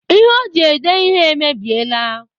Ihe o ji ede ihe emebiela.